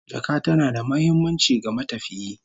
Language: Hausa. Jaka tana da muhimmanci ga matafiyi